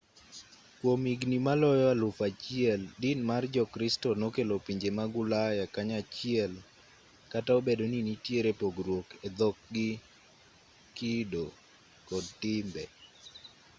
kwom higni maloyo alufu achiel din mar jokristo nokelo pinje mag ulaya kanyachiel kata obedo ni nitiere pogruok e dhok gi kido kod timbe